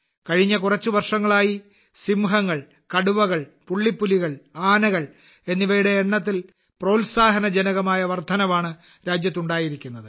കഴിഞ്ഞ കുറച്ച് വർഷങ്ങളായി സിംഹങ്ങൾ കടുവകൾ പുള്ളിപ്പുലികൾ ആനകൾ എന്നിവയുടെ എണ്ണത്തിൽ പ്രോത്സാഹനജനകമായ വർദ്ധനവാണ് രാജ്യത്ത് ഉണ്ടായിരിക്കുന്നത്